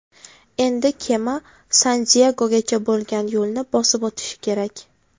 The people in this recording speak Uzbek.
Endi kema San-Diyegogacha bo‘lgan yo‘lni bosib o‘tishi kerak.